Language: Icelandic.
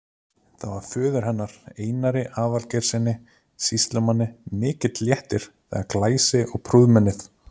Það var föður hennar, Einari Aðalgeirssyni sýslumanni, mikill léttir þegar glæsi- og prúðmennið